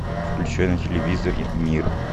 включай на телевизоре мир